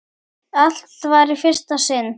Allt var í fyrsta sinn.